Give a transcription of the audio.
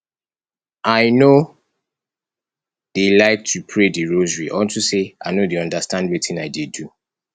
i no dey like to pray the rosary unto say i no dey understand wetin i dey do